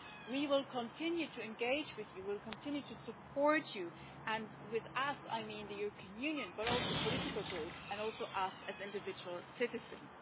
We will continue to engage with you, we will continue to support you and by us' I mean the European Union, but also the political groups, and also us as individual citizens.